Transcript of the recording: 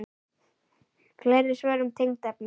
Fleiri svör um tengd efni